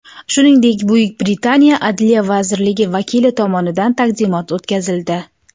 Shuningdek, Buyuk Britaniya Adliya vazirligi vakili tomonidan taqdimot o‘tkazildi.